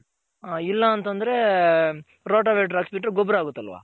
ಹ ಇಲ್ಲ ಅಂತಂದ್ರೆ ರೋಟ ವೆಟ್ರಿ ಹಾಕ್ಸ್ದ್ರೆ ಗೊಬ್ಬರ ಆಗುತ್ತಲ್ವ.